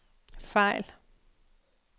fejl